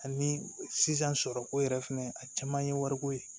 Ani sisan sɔrɔ ko yɛrɛ fɛnɛ a caman ye wariko ye